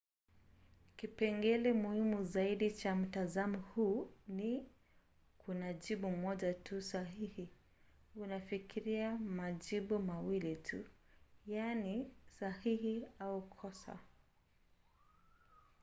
kipengele muhimu zaidi cha mtazamo huu ni: kuna jibu moja tu sahihi. unafikiria majibu mawili tu yaani sahihi au kosa